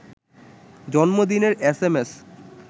জন্মদিনের S M S